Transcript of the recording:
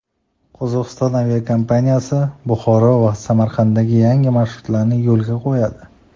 Qozog‘iston aviakompaniyasi Buxoro va Samarqandga yangi marshrutlarni yo‘lga qo‘yadi.